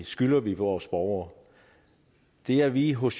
skylder vi vores borgere det er vi hos